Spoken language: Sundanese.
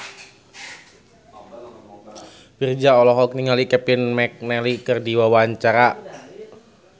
Virzha olohok ningali Kevin McNally keur diwawancara